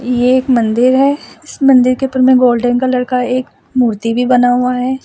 ये एक मंदिर है इस मंदिर के ऊपर में गोल्डेन कलर का एक मूर्ति भी बना हुआ है।